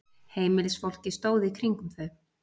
Heimilisfólkið stóð í kringum þau.